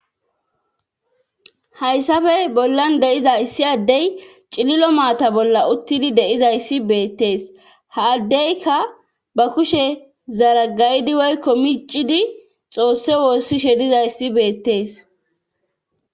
hayssafey bollan deiza issi addey cililo maata bolla uttidi deizayssi beettees haaddeyka ba kushe zaragaydi woykko miiccidi xoosse woossi she diza issi beettees